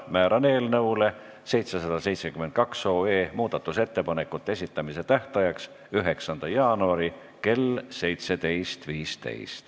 Määran eelnõu 772 muudatusettepanekute esitamise tähtajaks 9. jaanuari kell 17.15.